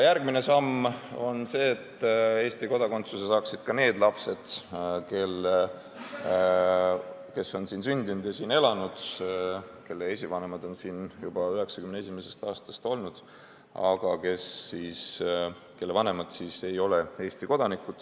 Järgmine samm on see, et Eesti kodakondsuse saaksid ka need lapsed, kes on siin sündinud ja siin elanud, kelle esivanemad on siin juba 1991. aastast olnud, aga kelle vanemad ei ole Eesti kodanikud.